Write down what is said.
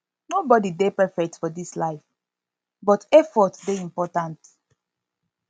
nobody dey perfect for dis life but effort dey important